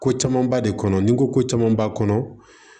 Ko camanba de kɔnɔ ni ko ko caman b'a kɔnɔ